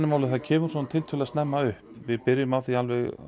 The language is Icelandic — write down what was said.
málið kemur tiltölulega snemma upp við byrjum því